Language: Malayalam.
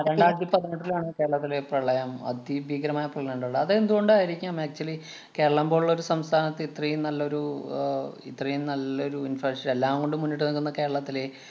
രണ്ടായിരത്തി പതിനെട്ടിലാണ് കേരളത്തിലെ പ്രളയം അതിഭീകരമായ പ്രളയമുണ്ടായെ. അത് എന്തുകൊണ്ടായിരിക്കാം actually കേരളം പോലുള്ള ഒരു സംസ്ഥാനത്ത് ഇത്രേം നല്ലൊരു ആഹ് ഇത്രേം നല്ലൊരു infact എല്ലാം കൊണ്ടും മുന്നിട്ട് നിന്നിരുന്ന കേരളത്തിലെ